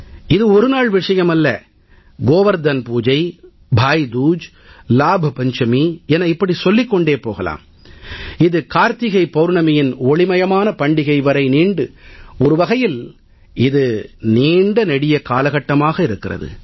இது ஒரு நாள் விஷயம் அல்ல கோவர்த்தம் பூஜை பாய் தூஜ் லாப் பஞ்சமி என இப்படி சொல்லிக் கொண்டே போகலாம் இது கார்த்திகை பௌர்ணமியின் ஒளிமயமான பண்டிகை வரை நீண்டு ஒரு வகையில் இது நீண்ட நெடிய காலகட்டமாக இருக்கிறது